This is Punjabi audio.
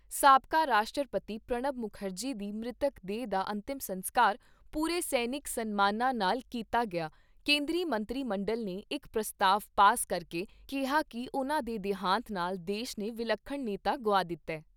ਸਾਬਕਾ ਰਾਸ਼ਟਰਪਤੀ ਪ੍ਰਣਬ ਮੁਖਰਜੀ ਦੀ ਮ੍ਰਿਤਕ ਦੇਹ ਦਾ ਅੰਤਮ ਸਸਕਾਰ ਪੂਰੇ ਸੈਨਿਕ ਸਨਮਾਨਾਂ ਨਾਲ ਕੀਤਾ ਗਿਆ ਕੇਂਦਰੀ ਮੰਤਰੀ ਮੰਡਲ ਨੇ ਇਕ ਪ੍ਰਸਤਾਵ ਪਾਸ ਕਰਕੇ ਕਿਹਾ ਕਿ ਉਨ੍ਹਾਂ ਦੇ ਦੇਹਾਂਤ ਨਾਲ ਦੇਸ਼ ਨੇ ਵਿਲੱਖਣ ਨੇਤਾ ਗੁਆ ਦਿੱਤਾ ।